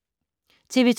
TV 2